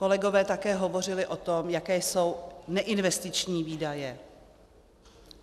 Kolegové také hovořili o tom, jaké jsou neinvestiční výdaje.